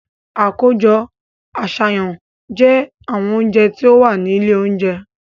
Àkójọ àṣàyàn jẹ́ àwọn oúnjẹ tó wà ní ilé oúnjẹ.